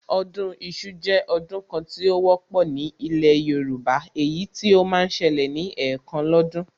Ọdún iṣu jẹ́ ọdún kan tí ó wọ́pọ̀ ní ilẹ̀ Yorùbá, èyí tí ó máa ń ṣẹlẹ̀ ní ẹ̀kan lọ́dún